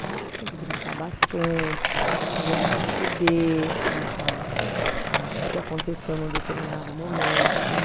Então, você tem que brincar bastante, fazer ele perceber a a a, o que aconteceu num determinado momento, como